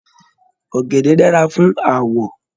Ọgẹdẹ dára fún aawọ.